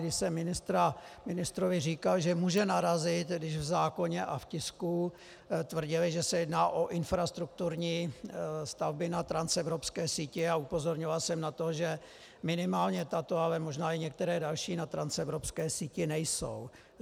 Když jsem ministrovi říkal, že může narazit, když v zákoně a v tisku tvrdili, že se jedná o infrastrukturní stavby na transevropské síti, a upozorňoval jsem na to, že minimálně tato, ale možná i některé další na transevropské síti nejsou.